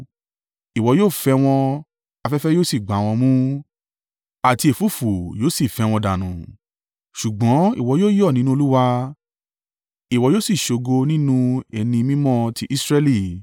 Ìwọ yóò fẹ́ wọn, afẹ́fẹ́ yóò sì gbá wọn mú, àti ẹ̀fúùfù yóò sì fẹ́ wọn dànù. Ṣùgbọ́n ìwọ yóò yọ̀ nínú Olúwa ìwọ yóò sì ṣògo nínú Ẹni Mímọ́ ti Israẹli.